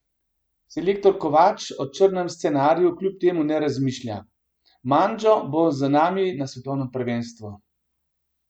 Selektor Kovač o črnem scenariju kljub temu ne razmišlja: "Mandžo bo z nami na svetovnem prvenstvu.